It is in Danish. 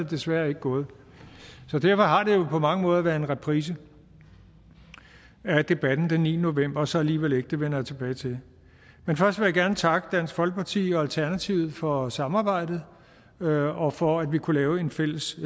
desværre ikke gået derfor har det jo på mange måder været en reprise af debatten den niende november og så alligevel ikke det vender jeg tilbage til men først vil jeg gerne takke dansk folkeparti og alternativet for samarbejdet og og for at vi kunne lave et fælles